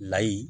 Layi